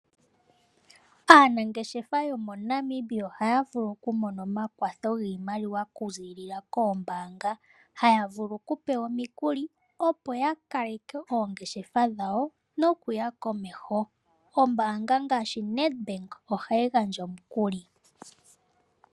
Aanangeshefa yomoNamibia ohaya vulu oku mona omakwatho giimaliwa oku ziilila koombanga. Haya vulu okupewa omikuli opo ya kale ke oongeshefa dhawo nokuya komeho. Ombaanga ngaashi Nedbank ohayi gandja omukuli.